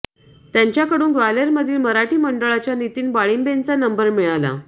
त्यांच्याकडून ग्वाल्हेरमधील मराठी मंडळाच्या नितीन वाळिंबेंचा नंबर मिळाला